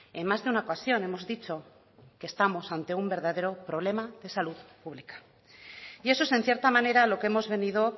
en más de una ocasión hemos dicho que estamos ante un verdadero problema de salud pública y eso es en cierta manera lo que hemos venido